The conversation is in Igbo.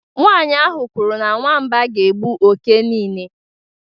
Nwanyị ahụ kwuru na nwamba ga-egbu oke niile